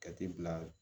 Jate bila